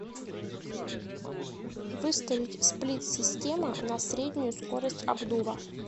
выставить сплит система на среднюю скорость обдува